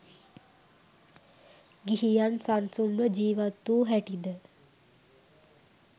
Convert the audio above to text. ගිහියන් සන්සුන්ව ජීවත්වූ හැටිද